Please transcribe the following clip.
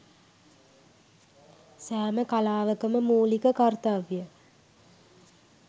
සෑම කලාවක ම මූලික කර්තව්‍යය